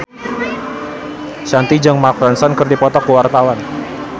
Shanti jeung Mark Ronson keur dipoto ku wartawan